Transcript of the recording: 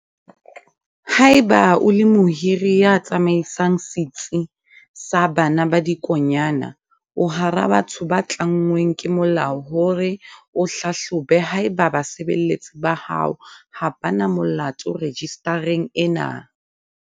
Haeba o le mohiri ya tsamaisang setsi sa bana ba dikonyana, o hara batho ba tlanngweng ke molao hore o hlahlobe haeba basebeletsi ba hao ha ba na molato rejistareng ena.